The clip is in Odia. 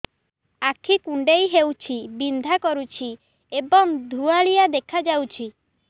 ଆଖି କୁଂଡେଇ ହେଉଛି ବିଂଧା କରୁଛି ଏବଂ ଧୁଁଆଳିଆ ଦେଖାଯାଉଛି